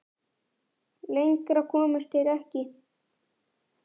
Lengra komust þeir ekki.